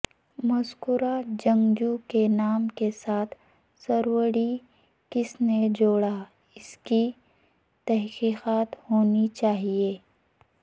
مذکورہ جنگجو کے نام کے ساتھ سروڑی کس نے جوڑا اس کی تحقیقات ہونی چاہئے